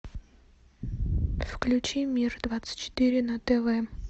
включи мир двадцать четыре на тв